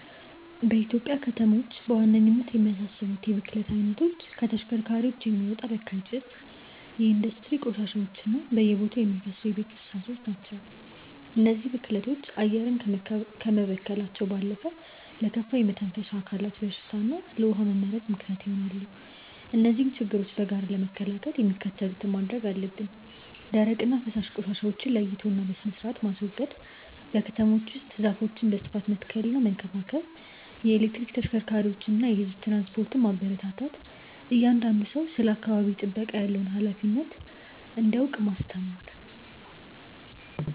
በኢትዮጵያ ከተሞች በዋነኝነት የሚያሳስቡት የብክለት አይነቶች ከተሽከርካሪዎች የሚወጣ በካይ ጭስ፣ የኢንዱስትሪ ቆሻሻዎች እና በየቦታው የሚፈሱ የቤት ፍሳሾች ናቸው። እነዚህ ብክለቶች አየርን ከመበከላቸው ባለፈ ለከፋ የመተንፈሻ አካላት በሽታ እና ለውሃ መመረዝ ምክንያት ይሆናሉ። እነዚህን ችግሮች በጋራ ለመከላከል የሚከተሉትን ማድረግ አለብን፦ ደረቅና ፈሳሽ ቆሻሻዎችን ለይቶና በስርአት ማስወገድ። በከተሞች ውስጥ ዛፎችን በስፋት መትከልና መንከባከብ። የኤሌክትሪክ ተሽከርካሪዎችንና የህዝብ ትራንስፖርትን ማበረታታት። እያንዳንዱ ሰው ስለ አካባቢ ጥበቃ ያለውን ሃላፊነት እንዲያውቅ ማስተማር።